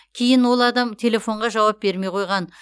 кейін ол адам телефонға жауап бермей қойған